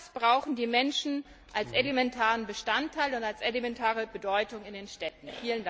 Denn genau das brauchen die Menschen als elementaren Bestandteil und als elementare Bedeutung in den Städten.